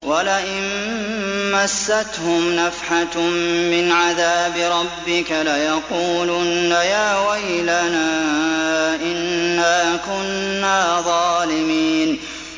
وَلَئِن مَّسَّتْهُمْ نَفْحَةٌ مِّنْ عَذَابِ رَبِّكَ لَيَقُولُنَّ يَا وَيْلَنَا إِنَّا كُنَّا ظَالِمِينَ